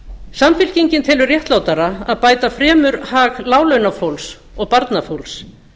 samfylkingin telur réttlátara að bæta fremur hag láglaunafólks og barnafólks